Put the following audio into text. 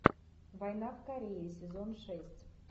война в корее сезон шесть